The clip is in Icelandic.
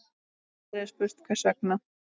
Aldrei er spurt hvers vegna.